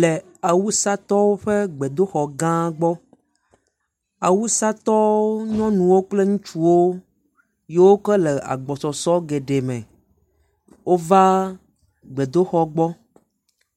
Le Awusatɔwo ƒe gbedoxɔ gã gbɔ, Awusatɔwo nyɔnuwo kple ŋutsuwo yiwo ke le agbɔsɔsɔ geɖe me, wova gbedoxɔ gbɔ,